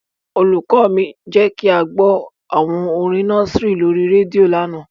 Olùkọ́ mi jẹ́ kí a gbọ́ àwọn orin nọ́síìrì lórí rédíò lánàá.